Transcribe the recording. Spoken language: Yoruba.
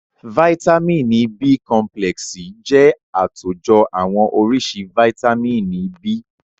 Vàìtamínií B complexi jẹ́ àtòjọ àwọn oríṣi vàìtamínií B.